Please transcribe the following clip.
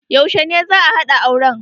Yaushe ne za'a haɗa auren?